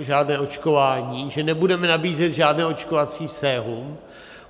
žádné očkování, že nebudeme nabízet žádné očkovací sérum.